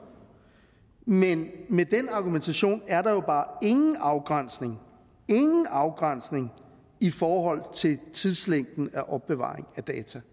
men med den argumentation er der jo bare ingen afgrænsning ingen afgrænsning i forhold til tidslængden af opbevaring af data